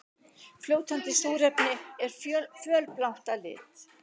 Fljótandi súrefni er fölblátt að lit.